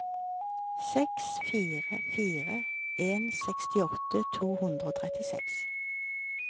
seks fire fire en sekstiåtte to hundre og trettiseks